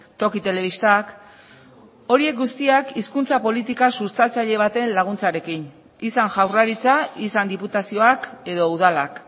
toki telebistak horiek guztiak hizkuntza politika sustatzaile baten laguntzarekin izan jaurlaritza izan diputazioak edo udalak